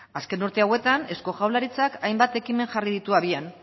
azken urte hauetan eusko jaurlaritzak hainbat ekimen jarri ditu abian